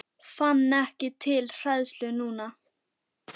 Fann ekki til hræðslu núna.